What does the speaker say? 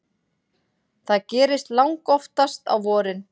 Það gerist langoftast á vorin.